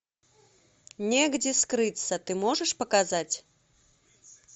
негде скрыться ты можешь показать